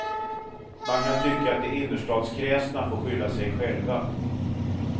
Man kan tycka att de innerstadskräsna får skylla sig själva.